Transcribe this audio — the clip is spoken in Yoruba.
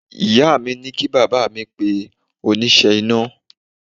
Ìyá mi ní kí bàbá pe oníṣẹ́ iná